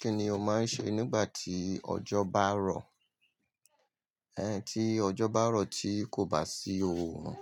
Kí ni o máa ń ṣe nígbà tí ọjọ́ bá rọ̀? Ẹn, tí ọjọ́ bá rọ̀ tí kò bá sí òòrùn,